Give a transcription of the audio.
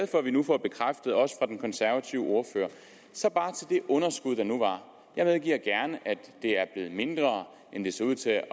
for at vi nu får bekræftet også af den konservative ordfører så bare til det underskud der nu var jeg medgiver gerne at det er blevet mindre end det så ud til at